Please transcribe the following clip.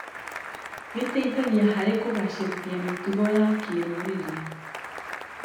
Gĩteithagia harĩ kũgacĩrithia mĩtugo ya kĩrũrĩrĩ.